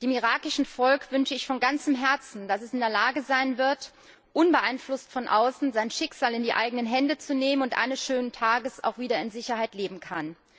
Dem irakischen Volk wünsche ich von ganzem Herzen, dass es in der Lage sein wird, unbeeinflusst von außen sein Schicksal in die eigenen Hände zu nehmen, und eines schönen Tages auch wieder in Sicherheit leben kann.